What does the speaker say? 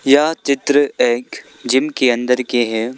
यह चित्र एक जिम के अंदर के हैं।